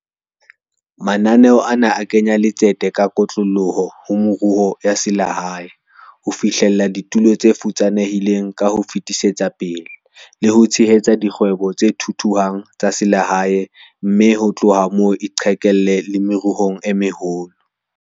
Mananeo ana a kenya letsete ka kotloloho ho meruo ya selehae, ho fihlella ditulo tse futsanehileng ka ho fetisetsa pele, le ho tshehetsa dikgwebo tse thuthuhang tsa selehae mme ho tloha moo e qhekelle le meruong e meholo.